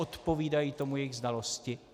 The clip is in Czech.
Odpovídají tomu jejich znalosti?